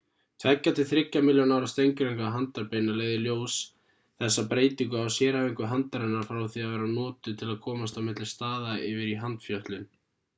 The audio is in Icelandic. tveggja til þriggja milljón ára steingervingar handarbeina leiða í ljós þessa breytingu á sérhæfingu handarinnar frá því að vera notuð til að komast á milli staða yfir í handfjötlun